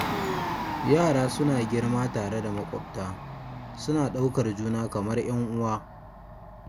Yara suna girma tare da maƙwabta, suna ɗaukar juna kamar 'yan uwa.